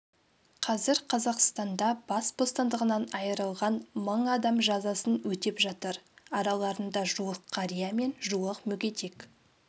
қазір қазақстанда бас бостандығынан айырылған мың адам жазасын өтеп жатыр араларында жуық қария мен жуық мүгедек